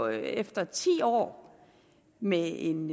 efter ti år med en